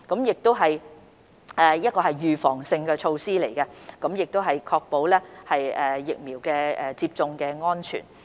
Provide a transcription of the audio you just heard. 此乃預防性措施，旨在持續確保疫苗接種安全。